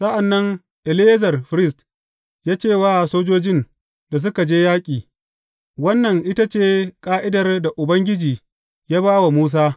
Sa’an nan Eleyazar firist, ya ce wa sojojin da suka je yaƙi, Wannan ita ce ƙa’idar da Ubangiji ya ba wa Musa.